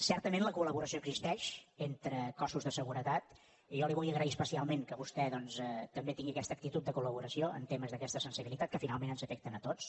certament la colexisteix entre cossos de seguretat i jo li vull agrair especialment que vostè doncs també tingui aquesta actitud de col·laboració en temes d’aquesta sensibilitat que finalment ens afecten a tots